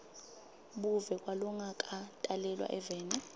buve kwalongakatalelwa eveni